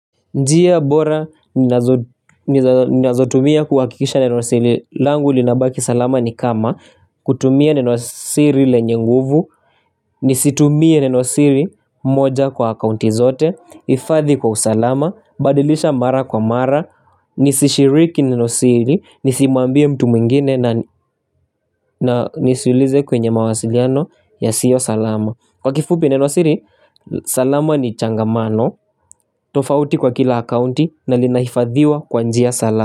Njia bora ninazotumia kuhakikisha neno siri. Langu linabaki salama ni kama. Kutumia neno siri lenyenguvu. Nisitumie neno siri moja kwa akaunti zote. Ifadhi kwa usalama. Badilisha mara kwa mara. Nisishiriki neno siri. Nisimuambie mtu mwingine na nisuulize kwenye mawasiliano ya siyo salama. Kwa kifupi neno siri, salama ni changamano, tofauti kwa kila akaunti na linaifadhiwa kwanjia salama.